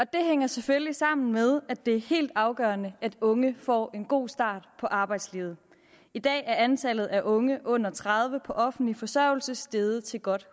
det hænger selvfølgelig sammen med at det er helt afgørende at unge får en god start på arbejdslivet i dag er antallet af unge under tredive på offentlig forsørgelse steget til godt